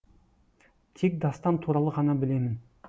тек дастан туралы ғана білемін